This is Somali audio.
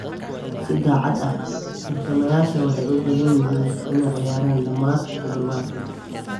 Si daacad ah, tartamayaasha waxay u badan tahay inay ciyaaraan dhammaadka toddobaadkan.